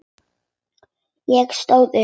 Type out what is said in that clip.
Ég stóð upp.